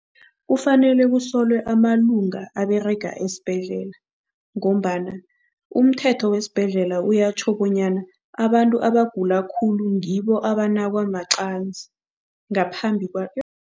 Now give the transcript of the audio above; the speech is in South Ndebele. Kufanele kusolwe amalunga aberega esibhedlela ngombana umthetho wesibhedlela uyatjho bonyana abantu abagula khulu ngibo abanakwa maqanzi ngaphambi